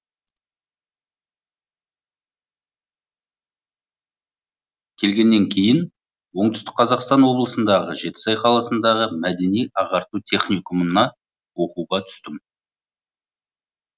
келгеннен кейін оңтүстік қазақстан облысындағы жетісай қаласындағы мәдени ағарту техникумына оқуға түстім